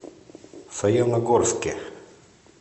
саяногорске